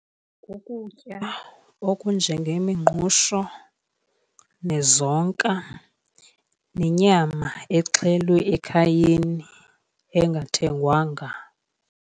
Kukutya okunjengemingqusho, nezonka, nenyama exhelwe ekhayeni, engathengwanga.